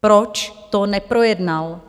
Proč to neprojednal?